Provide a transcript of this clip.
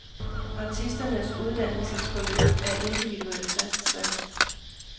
Artisternes uddannelsesforløb er individuelt fastsat.